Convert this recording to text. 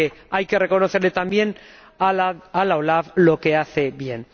Es decir, que hay que reconocerle también a la OLAF lo que hace bien.